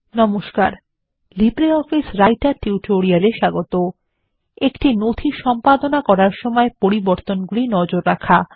নমস্কার LibreOffice Writer tutorial এ স্বাগত একটি নথি সম্পাদনা করার সময় পরিবর্তনগুলি নজর রাখা